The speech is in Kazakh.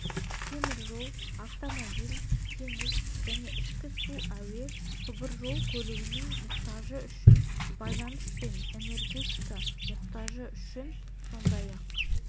теміржол автомобиль теңіз және ішкі су әуе құбыржолы көлігінің мұқтажы үшін байланыс пен энергетика мұқтажы үшін сондай-ақ